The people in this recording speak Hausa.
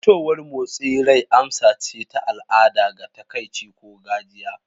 Fitowar motsin rai amsa ce ta al'ada ga takaici ko gajiya.